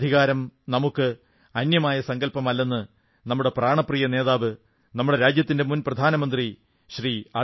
മാനവാധികാരം നമുക്ക് അന്യമായ സങ്കല്പമല്ലെന്ന് നമ്മുടെ പ്രാണപ്രിയ നേതാവ് നമ്മുടെ രാജ്യത്തിന്റെ മുൻ പ്രധാനമന്ത്രി ശ്രീ